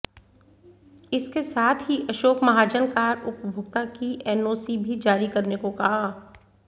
इसके साथ ही अशोक महाजन कार उपभोक्ता की एनओसी भी जारी करने को कहा